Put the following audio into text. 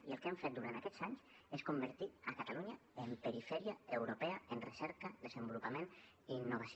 i el que han fet durant aquests anys és convertir catalunya en perifèria europea en recerca desenvolupament i innovació